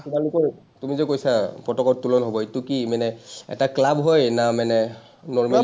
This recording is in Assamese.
তোমালোকৰ, তুমি যে কৈছা, পতাকা উত্তোলন হ’ব, এইটো কি মানে, এটা ক্লাব হয় না মানে normal